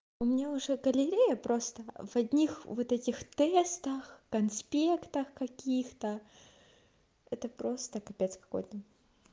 у меня уже галерея просто в одних вот этих тестах конспектах каких-то это просто капец какой-то